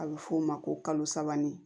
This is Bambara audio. A bɛ f'o ma ko kalo sabani